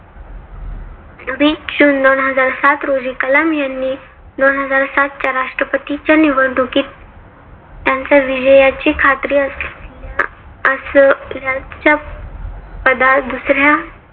वीस जून दोन हजार सात रोजी कलाम यांनी दोन हजार सात च्या राष्ट्रपतीच्या निवडणुकीत त्यांच्या विजयाची खात्री असल्याच्या पदा दुसऱ्या